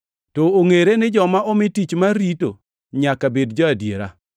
To ongʼere ni joma omi tich mar rito nyaka bed jo-adiera.